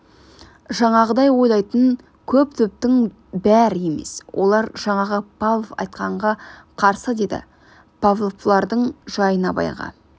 жаңағыдай ойлайтын көп топтың бәрі емес олар жаңағы павлов айтқанға қарсы деді павлов бұлардың жайын абайға